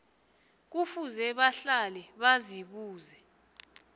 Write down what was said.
kufuze bahlale bazibuza